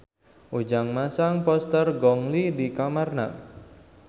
Ujang masang poster Gong Li di kamarna